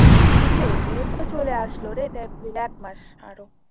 মে তে এ তো চলে আসলো রে এপ্রিল একমাস আরও